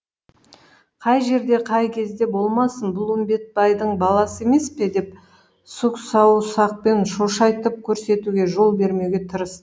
қай жерде қай кезде болмасын бұл үмбетбайдың баласы емес пе деп сұқ саусақпен шошайтып көрсетуге жол бермеуге тырыс